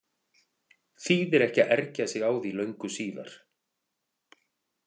Þýðir ekki að ergja sig á því löngu síðar.